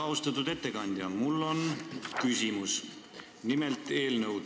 Austatud ettekandja, mul on küsimus eelnõu kohta.